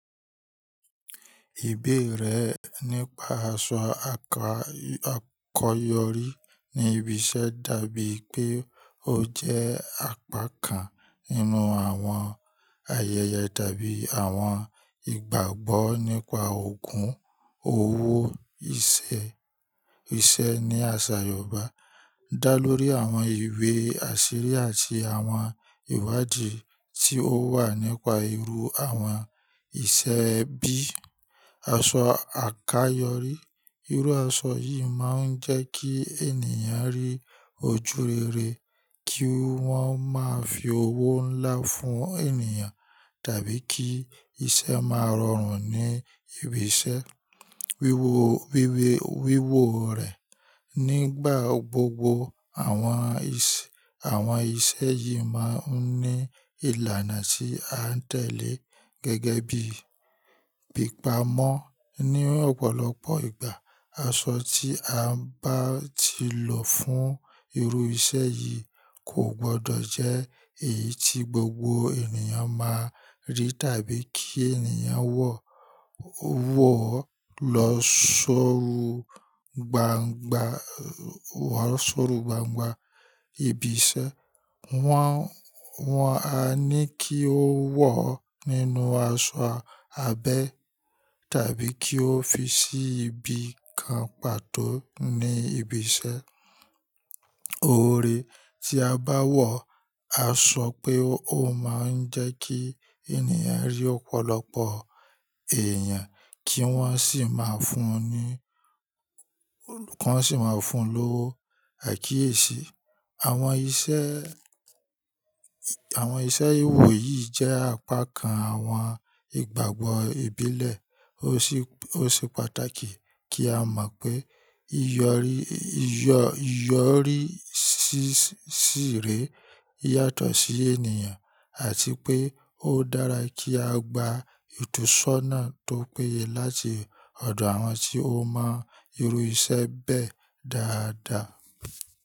Ìbéèrè nípa aṣọ àkayọrí ní ibi iṣẹ́ dàbí pé ó jẹ́ apá kan nínú àwọn ayẹyẹ tàbí àwọn ìgbàgbọ́ nípa ògùn òwò iṣẹ́ ní àṣà Yorùbá. Dá lórí àwọn ìwé àṣírí àti àwọn ìwádìí tí ó wà nípa irú àwọn iṣẹ́ bí aṣọ àkayọrí. Irú aṣọ yìí máa ń jẹ́ kí ènìyàn rí ojú rere, kí wọ́n máa fi owó ńlá fún ènìyàn tàbí kí iṣẹ́ máa rọrùn ní ibi iṣẹ́. Wíwò, wíwè, wíwò rẹ̀ nígbà gbogbo àwọn ìṣe, àwọn iṣẹ́ yìí máa ń ní ìlànà tí a ń tẹ̀lé gẹ́gẹ́ bíi pípa mọ́ ní ọ̀pọ̀lọpọ̀ ìgbà. Aṣọ tí a bá ti lò fún irú iṣẹ́ yìí kò gbọdọ̀ jẹ́ èyí tí gbogbo ènìyàn máa rí tàbí kí ènìyàn wọ̀, wọ̀ lọ sórù gbángba, wọ̀ sórù gbángba ibi iṣẹ́. Wọ́n, wọ́n á ní kí ó wọ̀ nínú aṣọ abẹ́ tàbí kí ó fi sí ibi kan pàtó ní ibi iṣẹ́. Oore tí a bá wọ̀, a sọ pé ó máa ń jẹ́ kí ènìyàn rí ọ̀pọ̀lọpọ̀ èèyàn kí wọ́n sì máa fún un ní, kan sì máa fún un lówó. Ẹ̀kíyèsí. Àwọn iṣẹ́, àwọn iṣẹ́ wò yìí jẹ́ apá kan àwọn ìgbàgbọ́ ìbílẹ̀. Ó ṣe, ó ṣe pàtàkì kí á mọ̀ pé iyọrí, iyọ́, iyọ́rí ṣìré yàtọ̀ sí ènìyàn àti pé ó dára kí á gba ìtúsọ́ná tó péye láti ọ̀dọ̀ àwọn tí ó mọ irú iṣẹ́ bẹ́ẹ̀ dáadáa.